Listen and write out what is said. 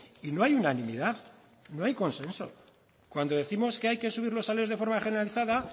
y no hay unanimidad no hay consenso cuando décimos que hay que subir los salarios de forma generalizada